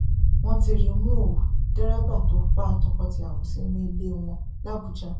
wọn ti rí i mú ọ dẹrẹbà tó pa tọkọtìyàwó sínú ilé wọn làbújá